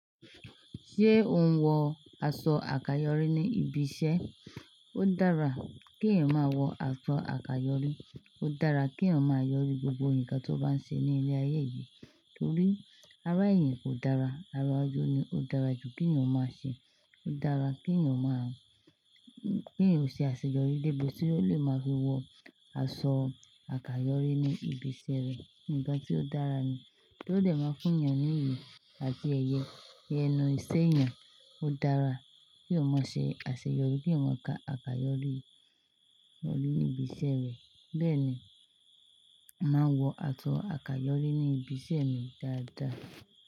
Ṣé ò ń wọ aṣọ àkàyọrí ní ibi iṣẹ́? Ó dára kí èèyàn máa wọ aṣọ àkàyọrí. Ó dára kí èèyàn máa yọrí gbogbo nǹkan tó bá ń ṣe ní ilé ayé yìí, torí ara èèyàn kò dára. Ara ojú ni ó dára jù. Kí èèyàn máa ṣe? Ó dára kí èèyàn máa-- kí èèyàn ó ṣe àṣeyọrí débi tí ó lè máa fi wọ aṣọ àkàyọrí ní ibi iṣẹ́ rẹ̀. Ǹkan tí ó dára ni, tó dẹ̀ máa fún èèyàn ní iyì àti ẹyẹ, ní ẹnu ìṣe èèyàn, ó dára. Kí èèyàn mọ ṣe àṣeyọrí kí èèyàn ma kà, àkàyọrí ní ibi iṣẹ́ rẹ̀. Bẹ́ẹ̀ ni, màá wọ aṣọ àkàyọrí ní ibi iṣẹ́ mi dáadáa.